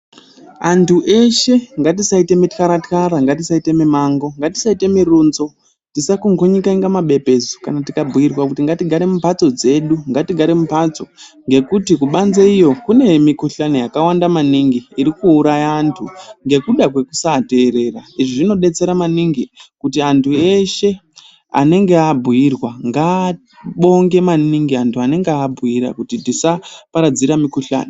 Antu eshe ngatisaita mitxara-txara ngatisaite mumango ngatisaite murunzo tisakungunyuka kunga mabepezu kana tikabhuirwa kuti ngatigare mumhatso dzedu. Ngatigare mumhatso ngekuti kubanze iyo kune mikuhlani yakawanda maningi iri kuuraya antu nekuda kwekusaterera. Izvi zvinobetsera maningi kuti antu eshe anenge abhuirwa ngabonge maningi antu anenge abhuira kuti tisaparadzira mikuhlani.